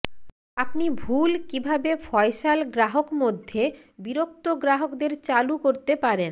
আপনি ভুল কিভাবে ফয়সাল গ্রাহক মধ্যে বিরক্ত গ্রাহকদের চালু করতে পারেন